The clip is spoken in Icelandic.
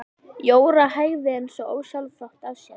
Jóra hægði eins og ósjálfrátt á sér.